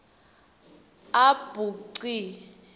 a b c